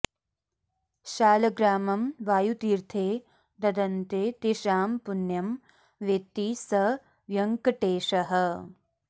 शालग्रामं वायुतीर्थे ददन्ते तेषां पुण्यं वेत्ति स व्यङ्कटेशः